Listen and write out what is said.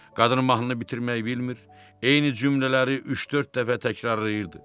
Qadın mahnını bitirməyi bilmir, eyni cümlələri üç-dörd dəfə təkrarlayırdı.